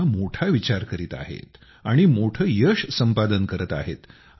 ते आता मोठा विचार करीत आहेत आणि मोठे यश संपादन करत आहेत